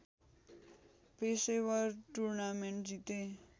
पेशेवर टुर्नामेन्ट जिते